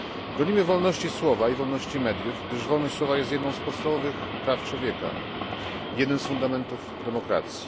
Bronimy wolności słowa i wolności mediów, gdyż wolność słowa jest jednym z podstawowych praw człowieka, jednym z fundamentów demokracji.